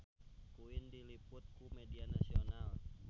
Queen diliput ku media nasional